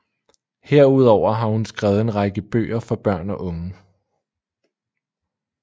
Herudover har hun skrevet en række bøger for børn og unge